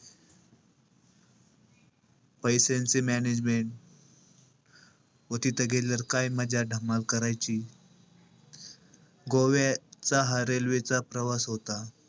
पैस्यांचे management व तिथे गेल्यावर काय मजा, धमाल करायची. गोव्याचा हा railway चा प्रवास होता.